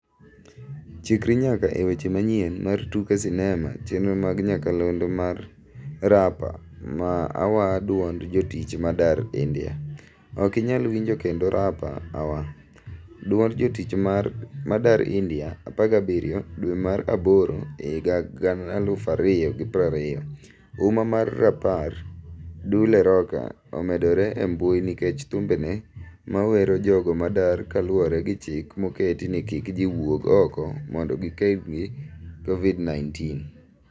Chikri nyaka e weche manyien mar tuke sinema chenro mag nyakalondo mar Rapa awa duond jotich madar India. Ok inyal winjo kendo Rapa awa, duond jotich madar India 17 dwe mar aboro 2020. Uma mar Rapper Dule Rocker omedore e mbui nikech thumbege mawero jogo madar kaluoregi chik moketi ni kik ji wuog oko mondo gikedgi kovid 19.